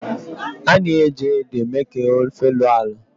a na-eji ede eme ka ofe lọọ alọ